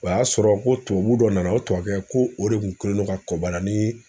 O y'a sɔrɔ ko tubabu dɔ nana o tubabukɛ ko o de kun kɛlen don ka kɔbala ni